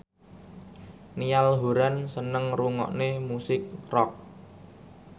Niall Horran seneng ngrungokne musik rock